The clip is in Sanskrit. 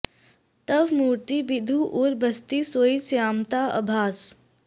तव मूरति बिधु उर बसति सोइ स्यामता अभास